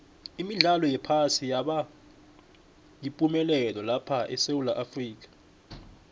imidlalo yephasi yaba yipumelelo lapha esewula afrika